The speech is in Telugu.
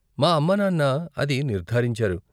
మా అమ్మానాన్న అది నిర్ధారించారు.